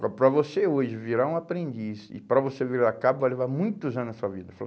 Para para você hoje virar um aprendiz e para você virar cabo, vai levar muitos anos na sua vida, ele falou.